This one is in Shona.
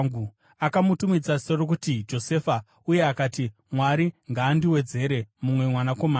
Akamutumidza zita rokuti Josefa, uye akati, “Mwari ngaandiwedzere mumwe mwanakomana.”